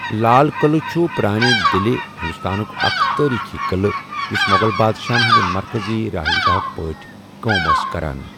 لال قٕلہٕ چھُ پرانہِ دِلہِ، دِلہِ، ہندوستانُک اکھ تٲریٖخی قٕلہٕ یُس مغل بادشاہَن ہُنٛدۍ مرکزی رہائش گاہٕک پٲٹھۍ کٲم اوس کران۔